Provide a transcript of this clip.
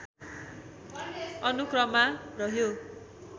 अनुक्रममा रह्यो